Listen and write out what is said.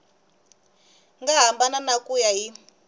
nga hambana ku ya hi